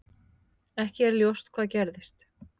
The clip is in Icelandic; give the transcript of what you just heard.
Ekki er ljóst hvað gerðist.